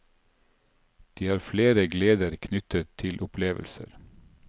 De har flere gleder knyttet til opplevelser.